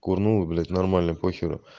курнула блять нормально похеру